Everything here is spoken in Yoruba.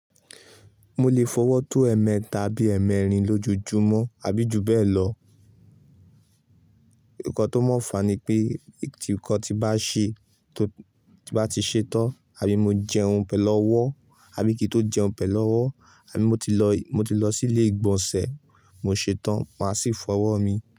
Mo lè f'ọwọ́ tó ẹ̀ẹ̀mẹ tàbí ẹ̀ẹ̀mẹrin lójoojúmọ́ àbí ju bẹ́ẹ̀ lọ. Ǹkan tó mọ̀ọ́fà ni pé tí nǹkan bá ṣe tó bá ti ṣetán, àbí mo jẹun pẹ̀lú ọwọ́, àbí kí n tó jẹun pẹ̀lú ọwọ́, àbí mo ti lọ, mo ti lọ sí ilé ìgbọ̀nsẹ̀ mo ṣetán màá sì fọwọ́ mi.